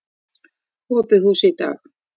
Opið hús í dag.